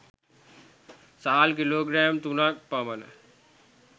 සහල් kilogram 03 ක් පමණ